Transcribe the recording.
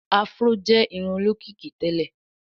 afro jé irun olókìkí tèlé.